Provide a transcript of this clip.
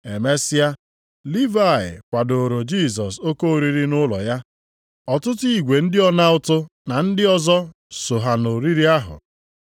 Emesịa, Livayị kwadooro Jisọs oke oriri nʼụlọ ya, ọtụtụ igwe ndị ọna ụtụ na ndị ọzọ soo ha nʼoriri ahụ.